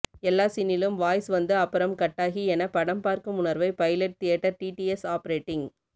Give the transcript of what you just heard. எல்லா சீனிலும வாய்ஸ் வந்து அப்புறம் கட்டாகி என படம் பார்க்கும் உணர்வை பைலட் தியேட்டர் டிடிஎஸ் ஆபரேட்டிங்